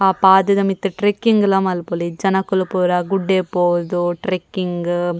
ಆ ಪಾದೆದ ಮಿತ್ತ್ ಟ್ರೆಕ್ಕಿಂಗ್ ಲ ಮಲ್ಪೊಲಿ ಜನೊಕುಲು ಪೂರ ಗುಡ್ಡೆ ಪೋದು ಟ್ರೆಕ್ಕಿಂಗ್ .